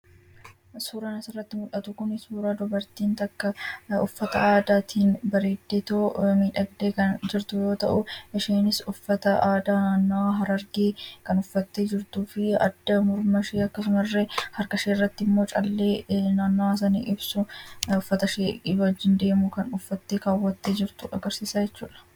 Suuraan asirratti mul'atu kun suuraa dubartiin takka uffata aadaatiin bareeddeetoo miidhagdee kan jirtu yoo ta’u, isheenis uffata aadaa naannoo Harargee kan uffattee jirtuu fi adda, Morgan fi akkasuma illee harka ishee irratti callee naannawaa sana ibsu uffata ishee wajjin deemu kan uffattee kaawwattee jirtu agarsiisa jechuudha.